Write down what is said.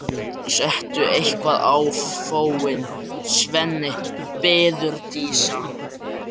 Settu eitthvað á fóninn, Svenni, biður Dísa.